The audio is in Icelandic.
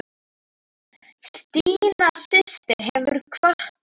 Stína systir hefur kvatt okkur.